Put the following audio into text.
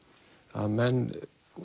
að menn